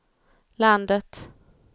landet